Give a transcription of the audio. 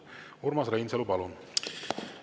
Urmas Reinsalu, palun!